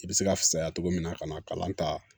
I bɛ se ka fisaya cogo min na ka na kalan ta